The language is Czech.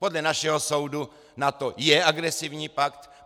Podle našeho soudu NATO je agresivní pakt!